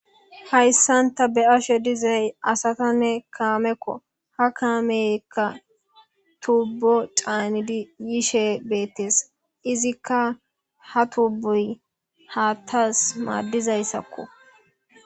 Hayssanta be ashe dizay asatanne kaamekko ha kaameykka tubbo caanidi yishe beettes izikka ha tubboy haattaas maaddizayssakko.